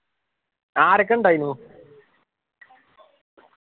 ആരൊക്കെ ഉണ്ടായിനു